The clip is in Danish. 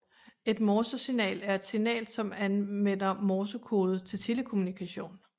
Et Morsesignal er et signal som anvender Morsekode til telekommunikation